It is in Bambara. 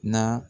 Na